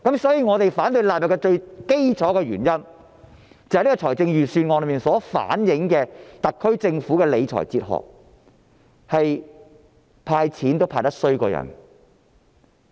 所以，我們反對將第1及2條納入《條例草案》的最基本原因，是預算案所反映的特區政府理財哲學，是"派錢"也派得比人差。